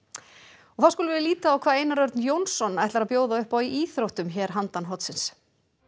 og þá skulum við líta á hvað Einar Örn Jónsson ætlar að bjóða upp á í íþróttum hér handan hornsins